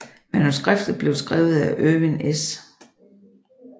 Manuskriptet blev skrevet af Erwin S